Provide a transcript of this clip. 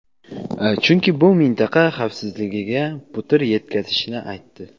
chunki bu mintaqa xavfsizligiga putur yetkazishini aytdi.